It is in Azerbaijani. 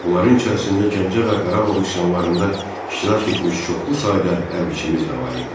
Onların içərisində Gəncə və Qarabağ üsyanlarında iştirak etmiş çoxlu sayda hərbiçimiz də var idi.